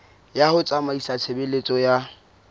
ya ho tsamaisa tshebeletso ya